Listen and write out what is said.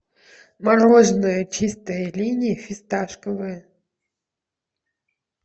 мороженое чистая линия фисташковое